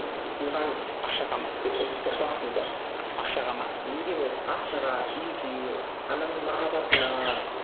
тойған ақшаға ма ұрпақсыз ба ақшаға ма неге болсын ақшаға үйге ананың махабатына